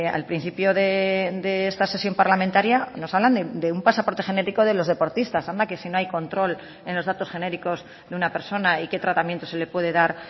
al principio de esta sesión parlamentaria nos hablan de un pasaporte genético de los deportistas anda que si no hay control en los datos genéricos de una persona y qué tratamientos se le puede dar